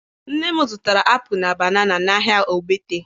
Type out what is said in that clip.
Nne m zụtara apụlụ na banana n'ahịa Ogbete